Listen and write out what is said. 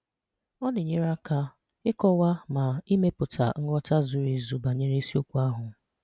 Ọ na-enyere aka ịkọwa ma ịmeputa nghọta zuru ezu banyere isiokwu ahụ.